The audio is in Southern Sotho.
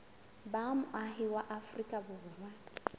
ba moahi wa afrika borwa